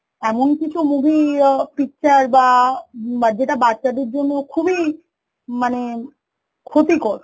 এমন কিছু movie আ picture বা উম যেটা বাচ্চা দের জন্য খুবই মানে ক্ষতিকর